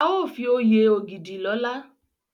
A o fi oyè Ogidi lola